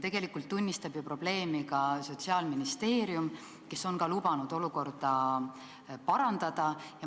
Tegelikult tunnistab probleemi ka Sotsiaalministeerium, kes on lubanud olukorda parandada.